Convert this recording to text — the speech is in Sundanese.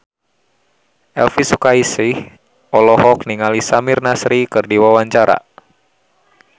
Elvi Sukaesih olohok ningali Samir Nasri keur diwawancara